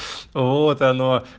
вот оно